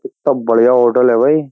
कित्ता बढ़िया होटल है भई।